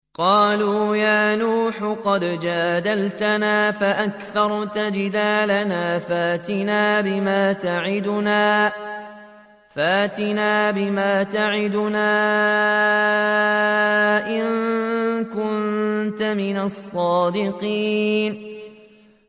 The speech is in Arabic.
قَالُوا يَا نُوحُ قَدْ جَادَلْتَنَا فَأَكْثَرْتَ جِدَالَنَا فَأْتِنَا بِمَا تَعِدُنَا إِن كُنتَ مِنَ الصَّادِقِينَ